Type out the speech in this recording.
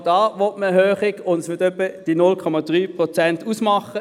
Auch da will man eine Erhöhung, und diese wird etwa die 0,3 Prozent ausmachen.